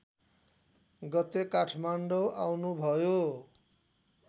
गते काठमाडौँ आउनुभयो